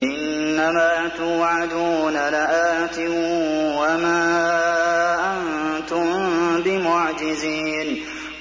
إِنَّ مَا تُوعَدُونَ لَآتٍ ۖ وَمَا أَنتُم بِمُعْجِزِينَ